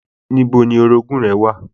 Níbo ni orogún-ùn rẹ wà?